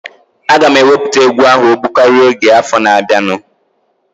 Aga m ewepụta egwu ahụ ogbụkaria oge afọ na-abianu